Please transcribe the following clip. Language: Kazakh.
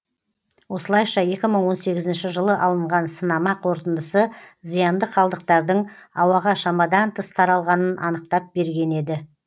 осылайша екі мың он сегізінші жылы алынған сынама қорытындысы зиянды қалдықтардың ауаға шамадан тыс таралғанын анықтап берген еді